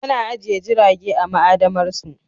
Ana ajiye jirage a ma'adamarsu